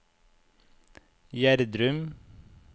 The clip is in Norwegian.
Gjerdrum